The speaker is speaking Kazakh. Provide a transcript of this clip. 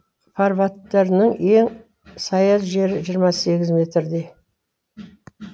фарватерінің ең саяз жері жиырма сегіз метрдей